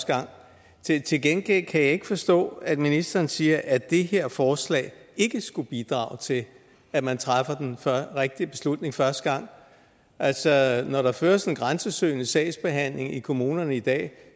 jeg til gengæld kan jeg ikke forstå at ministeren siger at det her forslag ikke skulle bidrage til at man træffer den rigtige beslutning første gang altså når der føres en grænsesøgende sagsbehandling i kommunerne i dag